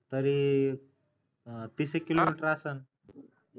तरी तीस एक किलोमीटर असल.